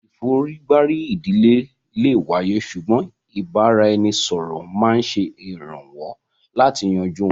ìforígbárí ìdílé lè wáyé ṣùgbọ́n ìbára-ẹni-sọ̀rọ̀ máa ń ṣèrànwọ́ láti yanjú wọn